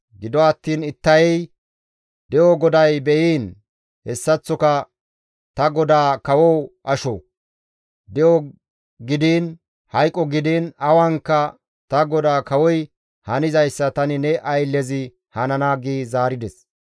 Gido attiin Ittayey, «De7o GODAY be7iin, hessaththoka ta godaa kawo asho; de7o gidiin hayqo gidiin awankka ta godaa kawoy hanizayssa tani ne ayllezi hanana» gi zaarides.